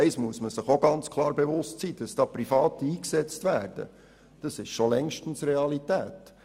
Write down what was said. Und eines muss man sich bewusst sein: Dass Private eingesetzt werden, ist schon längstens Realität.